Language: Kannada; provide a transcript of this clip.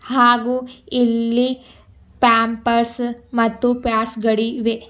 ಹಾಗೂ ಇಲ್ಲಿ ಪ್ಯಾಂಪರ್ಸು ಮತ್ತು ಪ್ಯಾಡ್ಸ್ ಗಳಿವೆ.